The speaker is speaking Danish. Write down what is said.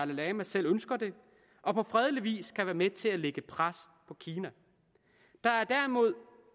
lama selv ønsker det og på fredelig vis kan være med til at lægge pres på kina der er